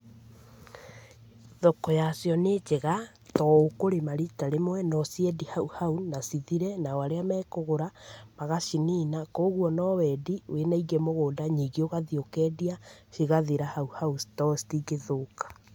Thoko ya cio nĩ njega tondũ ũkũrĩma rita rĩmwe no ũciendie hau hau na cithire nao arĩa mekũgũra magacinina , kũguo no wendie wĩna ingĩ mũgũnda ningĩ ũgathiĩ ũkendia cigathira hau hau tondũ citingĩthũka.